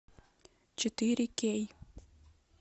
четыре кей